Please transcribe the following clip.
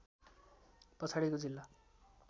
पछाडिको जिल्ला